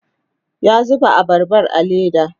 ya zuba abarban a leda